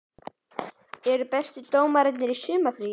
Eru bestu dómararnir í sumarfríi?